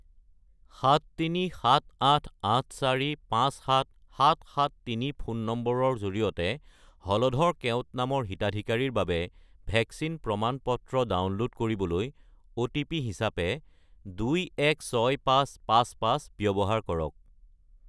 73788457773 ফোন নম্বৰৰ জৰিয়তে হলধৰ কেওট নামৰ হিতাধিকাৰীৰ বাবে ভেকচিন প্ৰমাণ-পত্ৰ ডাউনলোড কৰিবলৈ অ'টিপি হিচাপে 216555 ব্যৱহাৰ কৰক।